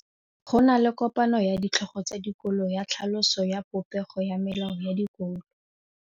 Go na le kopanô ya ditlhogo tsa dikolo ya tlhaloso ya popêgô ya melao ya dikolo.